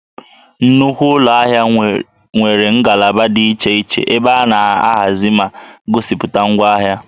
Nnukwu ụlọ ahịa nwere ngalaba dị iche iche ebe a na-ahazi ma gosipụta ngwaahịa